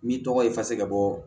N'i tɔgɔ ye fasa ka bɔ